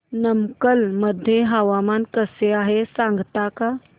नमक्कल मध्ये हवामान कसे आहे सांगता का